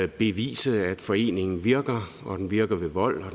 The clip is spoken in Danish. bevise at foreningen virker og at den virker ved vold